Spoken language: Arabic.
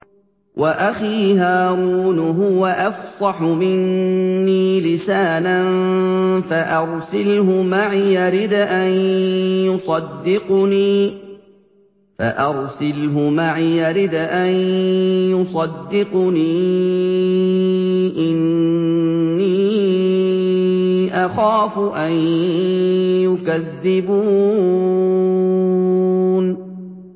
وَأَخِي هَارُونُ هُوَ أَفْصَحُ مِنِّي لِسَانًا فَأَرْسِلْهُ مَعِيَ رِدْءًا يُصَدِّقُنِي ۖ إِنِّي أَخَافُ أَن يُكَذِّبُونِ